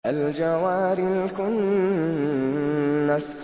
الْجَوَارِ الْكُنَّسِ